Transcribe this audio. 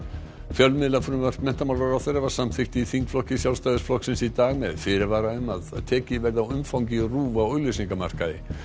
fjölmiðlafrumvarp menntamálaráðherra var samþykkt í þingflokki Sjálfstæðisflokksins í dag með fyrirvara um að tekið verði á umfangi RÚV á auglýsingamarkaði